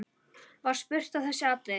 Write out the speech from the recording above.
Var spurt um þessi atriði.